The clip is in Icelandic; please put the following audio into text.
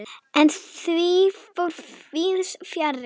En því fór víðs fjarri.